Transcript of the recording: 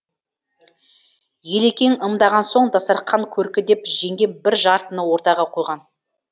елекең ымдаған соң дастарқан көркі деп жеңгем бір жартыны ортаға қойған